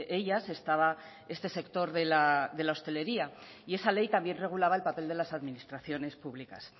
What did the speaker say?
ellas estaba este sector de la hostelería y esa ley también regulaba el papel de las administraciones públicas